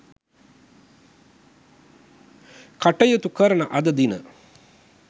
කටයුතු කරන අද දින